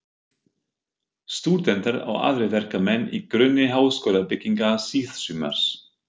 Stúdentar og aðrir verkamenn í grunni háskólabyggingar síðsumars